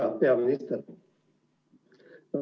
Hea peaminister!